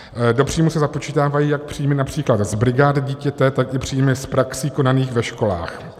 Do příjmu se započítávají jak příjmy například z brigád dítěte, tak i příjmy z praxí konaných ve školách.